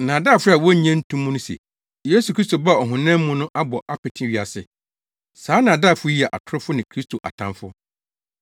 Nnaadaafo a wonnye nto mu no se Yesu Kristo baa ɔhonam mu no abɔ apete wiase. Saa nnaadaafo yi yɛ atorofo ne Kristo atamfo.